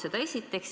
Seda esiteks.